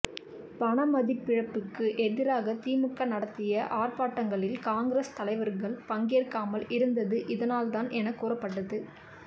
பண மதிப்பிழப்புக்கு எதிராக திமுக நடத்திய ஆர்ப்பாட்டங்களில் காங்கிரஸ் தலைவர்கள் பங்கேற்காமல் இருந்தது இதனால்தான் எனக் கூறப்பட்டது